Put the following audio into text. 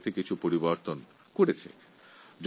সরকার এই বিষয়ে কিছু পরিবর্তন এনেছে